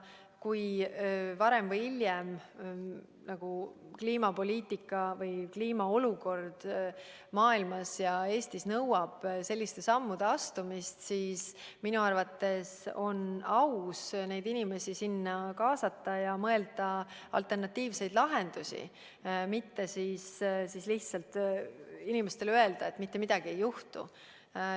Kui varem või hiljem kliimapoliitika ja kliima olukord Eestis ja kogu maailmas nõuab selliste sammude astumist, siis minu arvates on aus neid inimesi sinna kaasata ja mõelda alternatiivseid lahendusi, mitte lihtsalt inimestele öelda, et mitte midagi ei juhtu.